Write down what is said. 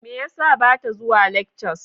Me yasa bata zuwa lectures?